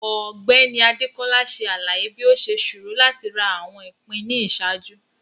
Ọgbẹni Adekola ṣe alaye bi o ṣe ṣoro lati ra awọn ipin ni iṣaaju.